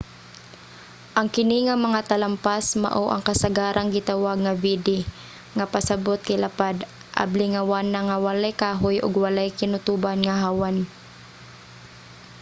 ang kini nga mga talampas mao ang kasagarang gitawag nga vidde nga pasabot kay lapad abli nga wanang nga walay kahoy ug walay kinutuban nga hawan